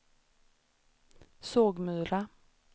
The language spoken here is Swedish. Sågmyra